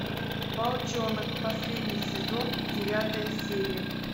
волчонок последний сезон девятая серия